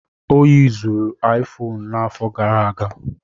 Ọ yuzuru Aifoonu n'afọ gara aga.